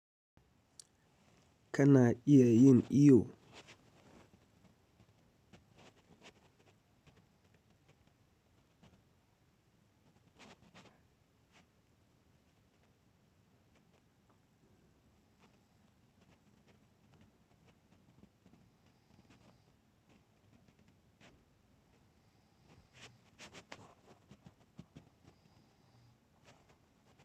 Kana iya yin iwo?